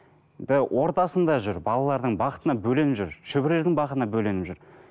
енді ортасында жүр балалардың бақытына бөленіп жүр шөберелердің бақытына бөленіп жүр